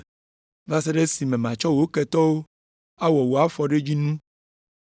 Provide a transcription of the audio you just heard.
va se ɖe esime matsɔ wò ketɔwo awɔ wò afɔɖodzinu.” ’